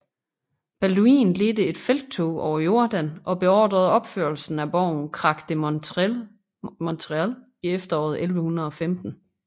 Balduin ledede et felttog over Jordan og beordrede opførelsen af borgen Krak de Montréal i efteråret 1115